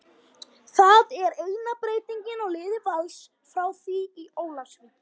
Það er eina breytingin á liði Vals frá því í Ólafsvík.